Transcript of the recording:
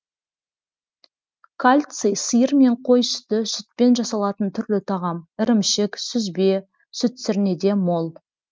кальций сиыр мен қой сүті сүтпен жасалатын түрлі тағам ірімшік сүзбе сүтсірнеде мол